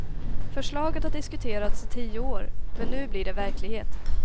Förslaget har diskuterats i tio år, men nu blir det verklighet.